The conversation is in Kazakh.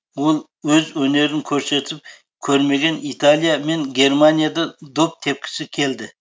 ол өз өнерін көрсетіп көрмеген италия мен германияда доп тепкісі келді